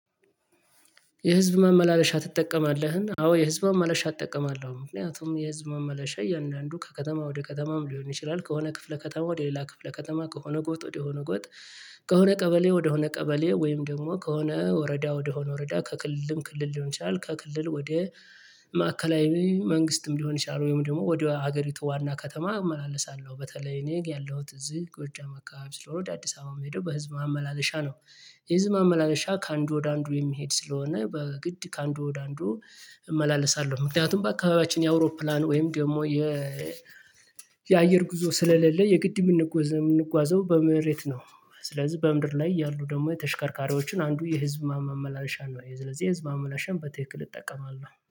የህዝብ ማመላለሻ ትጠቀማለህ? አዎ የህዝብ ማመላለሻ እጠቀማለሁ። ምክንያቱም የህዝብ ማመላለሻ እያንዳንዱ ከከተማ ወደ ከተማም ሊሆን ይችላል ከሆነ ክፍለ ከተማ ወደ ሌላ ክፍለ ከተማ ከሆነ ጎጥ ወደ ሆነ ጎጥ ከሆነ ቀበሌ ወደ ቀበሌ ወይም ደግሞ ከሆነ ወረዳ ወደሆነ ወረዳ ከክልልም ክልል ሊሆን ይችላል ከክልል ወደ ማዕከላዊ መንግስትም ሊሆን ይችላል ወይም ደግሞ ወደ ሀገሪቱ ዋና ከተማ እመላለሳለሁ በተለይ እኔ ያለሁት እዚህ ጎጃም አካባቢ ስለሆነ ወደ አዲስ አበባ እምሄድው በህዝብ ማመላለሻ ነው። የህዝብ ማመላለሻ ከአንዱ ወደ አንዱ የሚሄድ ስለሆነ በግድ ከአንዱ ወደ አንዱ እመላለሳለሁ። ምክንያቱም በአካባቢያችን የአውሮፕላን ወይም ደግሞ የ የአየር ጉዞ ስለሌለ የግድ የምንጓዘው በመሬት ነው። ስለዚህ በምድር ላይ ያሉ ደግሞ የተሽከርካሪዎችን አንዱ የህዝብ ማመላለሻ ነው የስለዚህ የህዝብ ማመላለሻን በትክክል እጠቀማለሁ